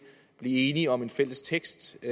enige om en fælles tekst det